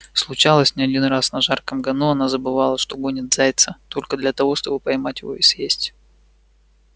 случалось не один раз на жарком гону она забывала что гонит зайца только для того чтобы поймать его и съесть